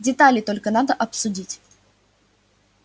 детали только надо обсудить